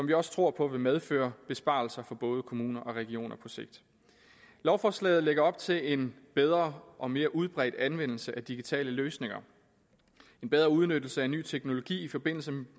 vi også tror på vil medføre besparelser for både kommuner og regioner på sigt lovforslaget lægger op til en bedre og mere udbredt anvendelse af digitale løsninger en bedre udnyttelse af ny teknologi i forbindelse